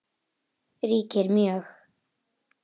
ríkir mjög.